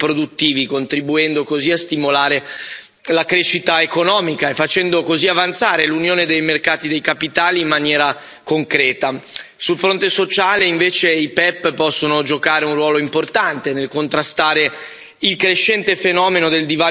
la crescita economica e facendo così avanzare l'Unione dei mercati dei capitali in maniera concreta. Sul fronte sociale, invece, i PEPP possono giocare un ruolo importante nel contrastare il crescente fenomeno del divario pensionistico che affligge la nostra società.